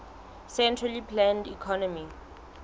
centrally planned economy